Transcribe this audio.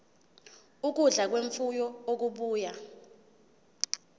ukudla kwemfuyo okubuya